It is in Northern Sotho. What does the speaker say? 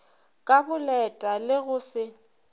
ka boleta le go se